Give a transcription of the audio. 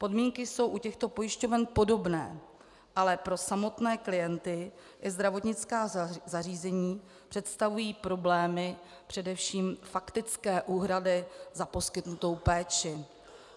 Podmínky jsou u těchto pojišťoven podobné, ale pro samotné klienty i zdravotnická zařízení představují problémy především faktické úhrady za poskytnutou péči.